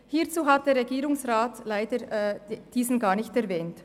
Diesen hat der Regierungsrat leider gar nicht erwähnt.